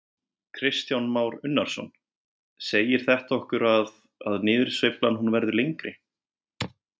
Kristján Már Unnarsson: Segir þetta okkur að, að niðursveiflan hún verður lengri?